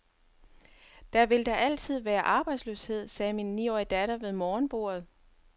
Der vil da altid være arbejdsløshed, sagde min niårige datter ved morgenbordet.